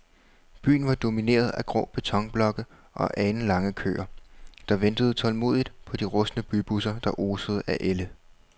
Byen var domineret af grå betonblokke og alenlange køer, der ventede tålmodigt på de rustne bybusser, der osede af ælde.